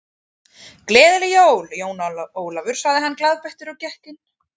Gleðileg jól, Jón Ólafur sagði hann glaðbeittur og gekk inn.